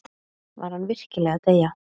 Var hann virkilega að deyja?